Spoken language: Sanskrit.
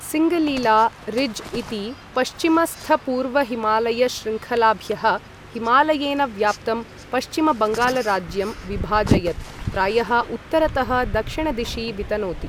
सिङ्गलिला रिज् इति पश्चिमस्थपूर्वहिमालयशृङ्खलाभ्यः हिमालयेन व्याप्तं पश्चिमबङ्गालराज्यं विभाजयत् प्रायः उत्तरतः दक्षिणदिशि वितनोति।